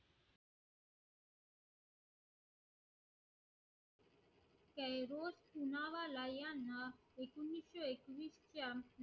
पुन्हा वाला यांना एकोणीशे एकवीस